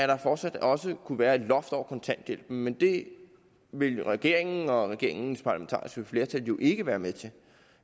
der fortsat også kunne være et loft over kontanthjælpen men det vil regeringen og regeringens parlamentariske flertal jo ikke være med til